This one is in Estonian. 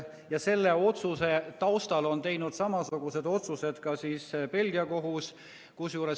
Ja selle otsuse kõrval on teinud samasugused otsused ka Belgia kohus.